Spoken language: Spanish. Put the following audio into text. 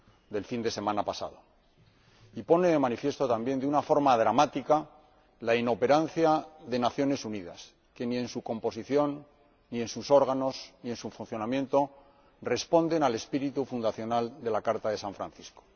del fin de semana pasado, y también pone de manifiesto, de una forma dramática, la inoperancia de las Naciones Unidas que, ni en su composición, ni en sus órganos, ni en su funcionamiento, responden al espíritu fundacional de la Carta de San Francisco.